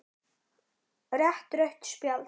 Rétt rautt spjald?